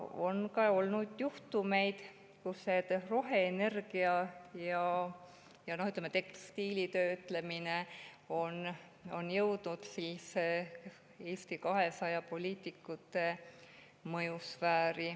On olnud ka juhtumeid, et roheenergia ja tekstiilitöötlemine on jõudnud Eesti 200 poliitikute mõjusfääri.